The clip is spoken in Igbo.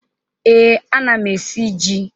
Ee, ana m esi ji.